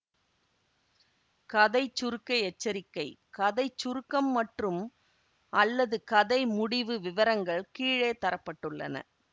கதை சுருக்க எச்சரிக்கை கதை சுருக்கம் மற்றும்அல்லது கதை முடிவு விவரங்கள் கீழே தர பட்டுள்ளன